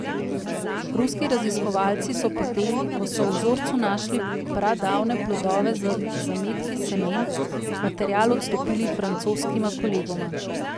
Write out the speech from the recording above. Ruski raziskovalci so potem, ko so v vzorcu našli pradavne plodove z zametki semen, material odstopili francoskima kolegoma.